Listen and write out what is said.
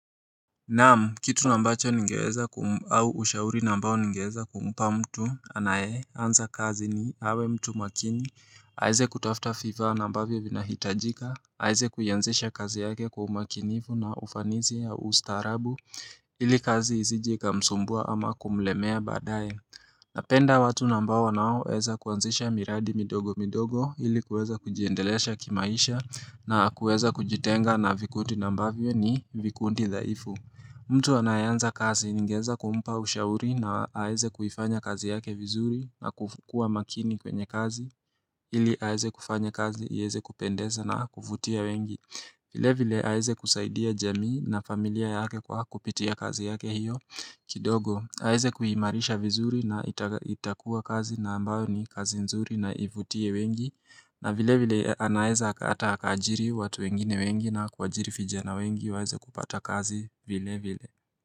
Naam kitu ambacho ningeweza au ushauri ambao ningeweza kumpa mtu anayeanza kazi ni awe mtu makini. Aweze kutafta vifaa ambavyo vinahitajika, aweze kuianzisha kazi yake kwa umakinifu na ufanisi ya ustaarabu, ili kazi isije ikamsumbua ama kumlemea baadaye. Napenda watu ambao wanaoweza kuanzisha miradi midogo midogo ili kuweza kujiendelesha kimaisha na kuweza kujitenga na vikundi ambavyo ni vikundi dhaifu. Mtu anayeanza kazi ningeweza kumpa ushauri na aweze kuifanya kazi yake vizuri na kukuwa makini kwenye kazi ili aweze kufanya kazi iweze kupendeza na kuvutia wengi. Vilevile aweze kusaidia jamii na familia yake kwa kupitia kazi yake hiyo kidogo. Aweze kuimarisha vizuri na itakua kazi na ambayo ni kazi nzuri na ivutie wengi na vilevile anaeza hata akaajiri watu wengine wengi na kuajiri vijana wengi waeze kupata kazi vilevile.